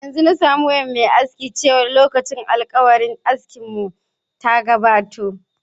Yanzu na sami wayan mai aski chewar lokacin alkawarin aski mun ta gabato.